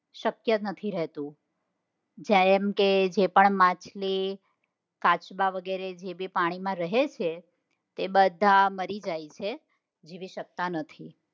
શક્ય નથી હોતું. જેમ કે જેપણ માછલી કાચબા વગેરે જે પાણીમાં રહે છે તે બધા મરી જાય છે જીવી સકતા નથી.